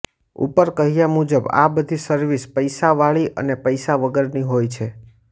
ઉપર કહ્યા મુજબ આ બધી સર્વિસ પૈસાવાળી અને પૈસા વગરની હોય છે